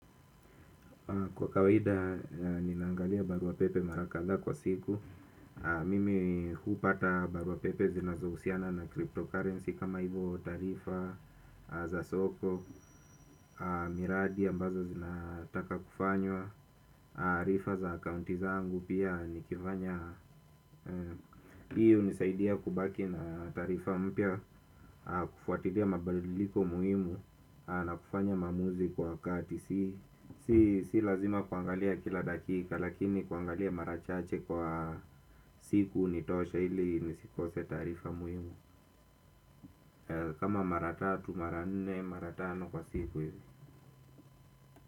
Kwa kawaida, ninaangalia barua pepe mara kadhaa kwa siku. Mimi huupata barua pepe zinazohusiana na cryptocurrency kama hivo tarifa za soko. Miradi ambazo zinataka kufanywa. Arifa za akaunti zangu pia nikivanya. Hii unisaidia kubaki na tarifa mpya. Kufuatilia mabaliliko muhimu na kufanya maamuzi kwa wakati. Si lazima kuangalia kila dakika. Lakini kuangalia mara chache kwa siku ni tosha ili nisikose tarifa muhimu. Kama mara tatu mara nne mara tano kwa siku.